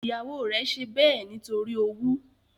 Ìyàwó rẹ̀ ṣe bẹ́ẹ̀ nítorí owú